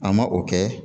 An ma o kɛ